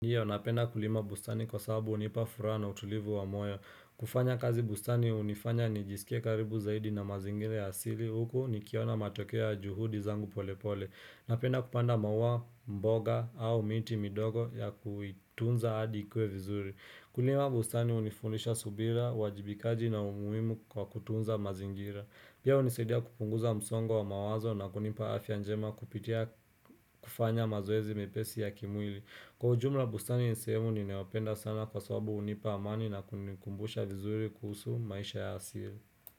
Ndiyo, napenda kulima bustani kwa sababu hunipa furaha na utulivu wa moyo. Kufanya kazi bustani unifanya ni jisike karibu zaidi na mazingira asili huko ni kiona matokea juhudi zangu polepole. Napenda kupanda maua mboga au miti midogo ya kuitunza adikwe vizuri. Kulima bustani hunifunisha subira, wajibikaji na umuhimu wa kutunza mazingira. Pia hunisadia kupunguza msongo wa mawazo na kunipa afya njema kupitia kufanya mazoezi mepesi ya kimwili. Kwa ujumla bustani ni sehemu ninayopenda sana kwa sababu hunipa amani na kunikumbusha vizuri kuhusu maisha ya asili.